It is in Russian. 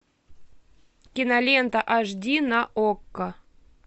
кинолента аш ди на окко